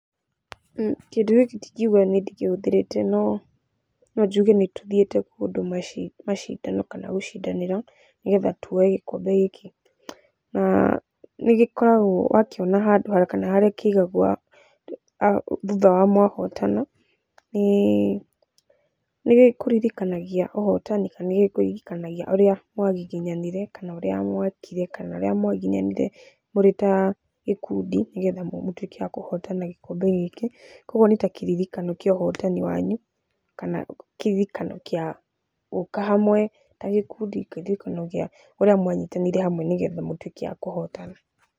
Kĩndũ gĩkĩ ndingiuga nĩ ndĩkĩhũthĩrĩte no nonjuge nĩtũthiĩte kũndũ macindano kana gũcindanĩrwo, nĩgetha tuoe gĩkombe gĩkĩ. Na nĩ gĩkoragwo wakĩona handũ thutha wa mwahootana. Nĩ gĩkũririkanagia ũhotani kana nĩgĩkũririkanagia ũrĩa mwagiginyanire kana ũrĩa mwekire kana ũrĩa mwagiginyanire mũrĩ ta gĩkundi gĩa kũhotana gĩkombe gĩkĩ, kwoguo nĩ ta kĩririkano kĩa ũhotani wanyu kana kĩririkano kĩa ũhotani wanyu kana kĩririkano gĩa gũũka hamwe ta gĩkundi kũririkana ũrĩa mwanyitanire hamwe nĩgetha mũtwĩke a kũhotana.